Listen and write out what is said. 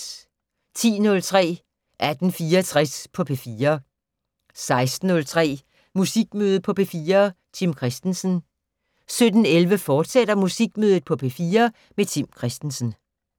10:03: 1864 på P4 16:03: Musikmøde på P4: Tim Christensen 17:11: Musikmøde på P4: Tim Christensen, fortsat